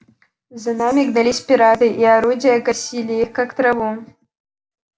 за ними гнались пираты и орудия косили их как траву